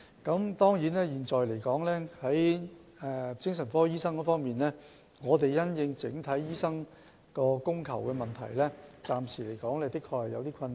關於精神科醫生能否應付整體精神科服務需求的問題，暫時的確有點困難。